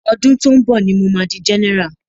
Ọdún tó ń bọ̀ ní mo ma di general.